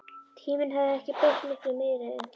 Tíminn hafði ekki breytt miklu meiru en því.